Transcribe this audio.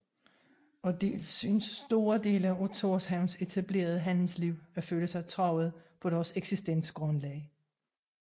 Og dels syntes store dele af Thorshavns etablerede handelsliv at føle sig truet på deres eksistensgrundlag